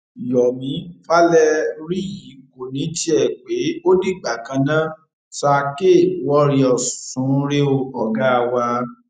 yomi valeriyi kò ní tiẹ pé ó dìgbà kan ná sir kwarriors sun ún rè o ọgá wa